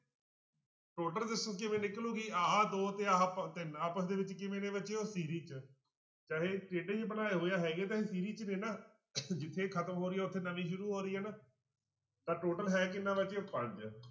Total resistance ਕਿਵੇਂ ਨਿਕਲੇਗੀ ਆਹ ਦੋ ਤੇ ਆਹ ਪ~ ਤਿੰਨ ਆਪਸ ਦੇ ਵਿੱਚ ਕਿਵੇਂ ਨੇ ਬੱਚਿਓ 'ਚ ਚਾਹੇ ਟੇਢੇ ਜਿਹੇ ਬਣਾਏ ਹੋਏ ਆ ਹੈਗੇ ਤਾਂ ਇਹ 'ਚ ਨੇ ਨਾ ਜਿੱਥੇ ਖ਼ਤਮ ਹੋ ਰਹੀ ਆ ਉੱਥੇ ਨਵੀਂ ਸ਼ੁਰੂ ਹੋ ਰਹੀ ਆ ਨਾ ਤਾਂ total ਹੈ ਕਿੰਨਾ ਰਾਜੇ ਪੰਜ